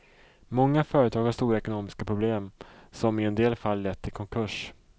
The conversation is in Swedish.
Många företag har stora ekonomiska problem som i en del fall lett till konkurs.